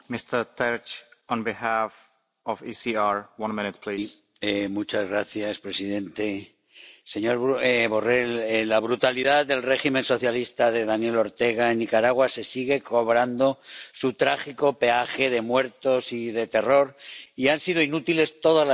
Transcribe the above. Señor presidente, señor Borrell, la brutalidad del régimen socialista de Daniel Ortega en Nicaragua se sigue cobrando su trágico peaje de muertos y de terror. Y han sido inútiles todas las advertencias hasta ahora, las Resoluciones,